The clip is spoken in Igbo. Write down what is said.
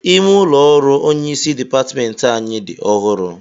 Ime ụlọ ọrụ onyeisi dịpatmentị anyị dị ọhụrụ